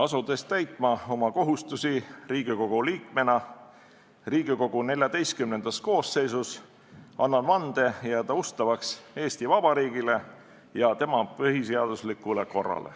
Asudes täitma oma kohustusi Riigikogu liikmena Riigikogu XIV koosseisus, annan vande jääda ustavaks Eesti Vabariigile ja tema põhiseaduslikule korrale.